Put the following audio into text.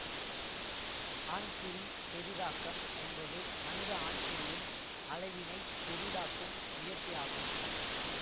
ஆண்குறிப் பெரிதாக்கம் என்பது மனித ஆண்குறியின் அளவினைப் பெரிதாக்கும் முயற்சியாகும்